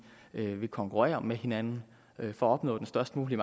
vil konkurrere med hinanden for at opnå den størst mulige